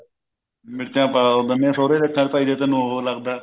ਮਿਰਚਾਂ ਪਾ ਦਿੰਦੀ ਆ ਸੁਹਰੇ ਦੀਆਂ ਅੱਖਾਂ ਵਿੱਚ ਵੀ ਜੇ ਤੈਨੂੰ ਉਹ ਲੱਗਦਾ